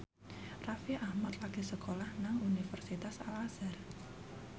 Raffi Ahmad lagi sekolah nang Universitas Al Azhar